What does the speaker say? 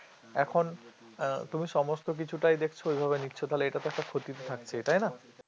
এখন উম তুমি সমস্ত কিছুটাই দেখছো ওই ভাবে নিচ্ছ তাহলে এটা তো একটা ক্ষতি থাকছে তাই না